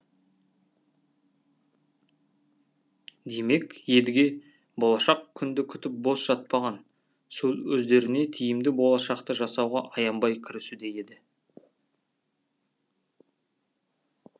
демек едіге болашақ күнді күтіп бос жатпаған сол өздеріне тиімді болашақты жасауға аянбай кірісуде еді